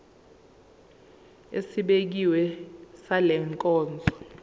esibekiwe sale nkonzo